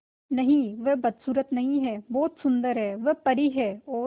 नहीं वह बदसूरत नहीं है बहुत सुंदर है वह परी है और